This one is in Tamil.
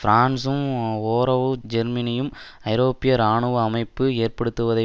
பிரான்சும் ஓரவு ஜெர்மனியும் ஐரோப்பிய இராணுவ அமைப்பு ஏற்படுத்துவதை